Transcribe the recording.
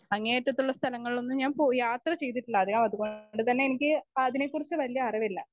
Speaker 1 അങ്ങേ അറ്റത്തെ സ്ഥലങ്ങളിലൊന്നും ഞാൻ പോയ് യാത്ര ചെയ്തിട്ടില്ല. അതുകൊണ്ട് തന്നെ അതിനെക്കുറിച് വല്യ അറിവില്ല